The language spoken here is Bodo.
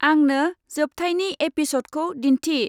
आंंनो जोबथायनि एपिसदखौ दिनथि।